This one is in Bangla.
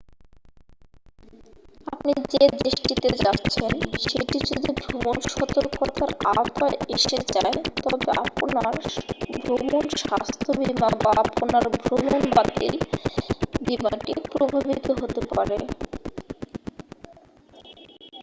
আপনি যে দেশটিতে যাচ্ছেন সেটি যদি ভ্রমণ সতর্কতার আওতায় এসে যায় তবে আপনার ভ্রমণ স্বাস্থ্য বীমা বা আপনার ভ্রমণ বাতিল বীমাটি প্রভাবিত হতে পারে